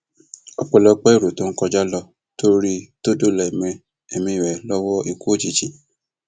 ọpẹlọpẹ èrò tó ń kọjá ló tó rí i tó dóòlà ẹmí ẹmí ẹ lọwọ ikú òjijì